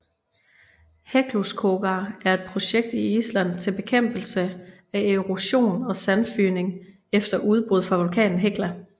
Hekluskogar er et projekt i Island til bekæmpelse af erosion og sandfygning efter udbrud fra vulkanen Hekla